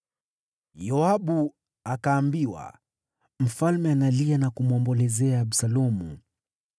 Yoabu akaambiwa, “Mfalme analia na kumwombolezea Absalomu.”